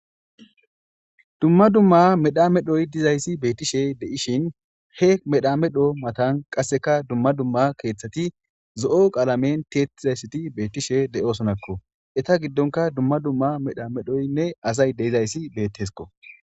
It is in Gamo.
dumma dumma medha medhoy dizayssi beettishe de7ishin he medha medho matan qasseka dumma dumma keeththati zo7o qaalamen tiettizayssati beettishe de7osonakko eta giddonka dumma dumma medha medhoynne azay deizayssi bettesko